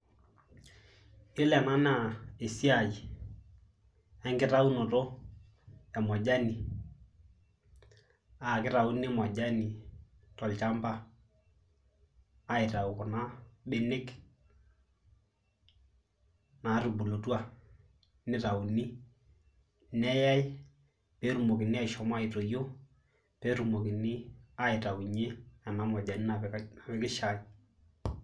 Iyiolo ena naa esiai enkitaunoto e nakitauni majani tolchamba aitau mbenek nitauni neyau netumokini ashomoita petumokini atipik kuna majanini napiki shai.